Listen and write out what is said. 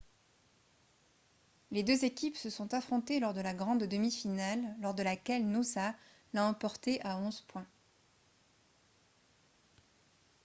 les deux équipes se sont affrontées lors de la grande demi-finale lors de laquelle noosa l'a emporté à 11 points